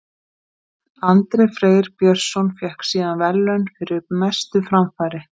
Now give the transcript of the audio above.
Andri Freyr Björnsson fékk síðan verðlaun fyrir mestu framfarir.